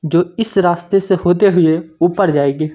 जो इस रास्ते से होते हुए ऊपर जाएगी।